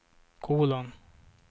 kolon